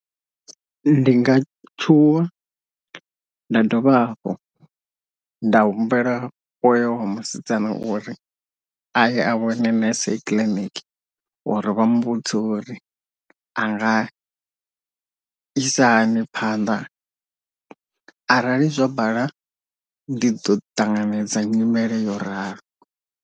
Ndi nga tshuwa nda dovha hafhu nda humbela hoyo wa musidzana uri aye a vhone nurse clinic uri vha muvhudze uri anga isa hani phanḓa, arali zwa bala ndi ḓo ṱanganedza nyimele yo ralo.